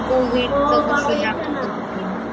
Covid च कसं दाखवत होते